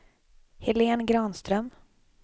Helén Granström